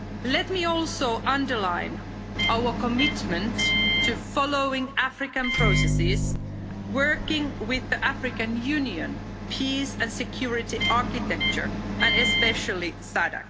Let me also underline our commitment to following African processes, working with the African Union Peace and Security Architecture and especially SADC.